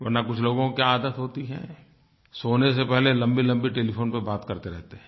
वरना कुछ लोगों की आदत होती है सोने से पहले लम्बीलम्बी टेलीफ़ोन पर बात करते रहते हैं